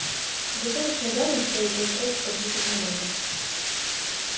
достаточно данных чтобы поискать в компьютерной базе